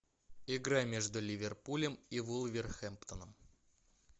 игра между ливерпулем и вулверхэмптоном